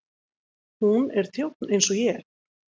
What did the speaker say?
Hún er þjónn eins og ég.